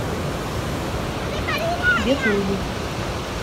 ветлугу